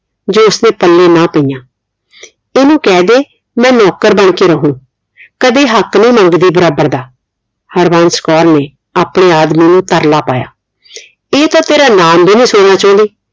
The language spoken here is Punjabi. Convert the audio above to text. ਜੋ ਉਸਦੇ ਪੱਲੇ ਨਾ ਪਈਆਂ ਇਹਨੂੰ ਕਹਿ ਦੇ ਮੈਂ ਨੌਕਰ ਬਣ ਕੇ ਰਹੁ ਕਦੇ ਹਕ਼ ਨੀ ਮੰਗਦੀ ਬਰਾਬਰ ਦਾ ਹਰਬੰਸ ਕੌਰ ਨੇ ਆਪਣੇ ਆਦਮੀ ਨੂੰ ਤਰਲਾ ਪਾਈਆਂ ਇਹ ਤਾ ਤੇਰਾ ਨਾਮ ਵੀ ਨੀ ਸੁਣਨਾ ਚਾਉਂਦੀ